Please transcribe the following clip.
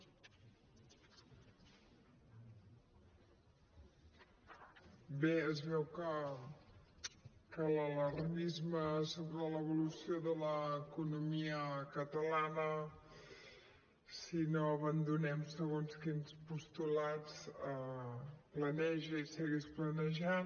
bé es veu que l’alarmisme sobre l’evolució de l’economia catalana si no abandonem segons quins postulats planeja i segueix planejant